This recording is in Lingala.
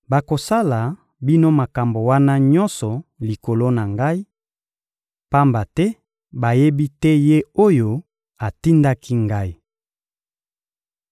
Bakosala bino makambo wana nyonso likolo na Ngai, pamba te bayebi te Ye oyo atindaki Ngai.